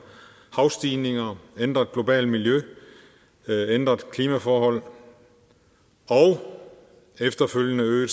havstigninger et ændret globalt miljø ændrede klimaforhold og efterfølgende øgede